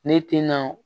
Ne tena